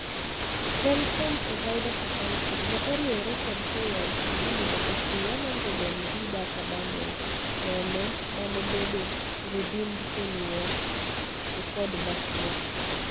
Telecom provider safaricom ne oriwore kod KICD mondo ochiw 100MB data bundle nono manebedo redeemed koluo e code machuok.